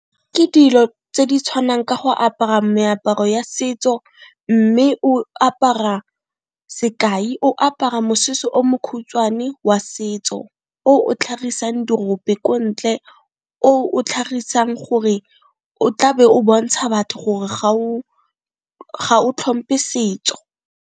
Ke dilo tse di tshwanang ka go apara meaparo ya setso, mme o apara sekai o apara mosese o mokhutswane wa setso o o tlhagisang dirope ko ntle, oo o tlhagisang gore o tla be o bontsha batho gore ga o tlhomphe setso.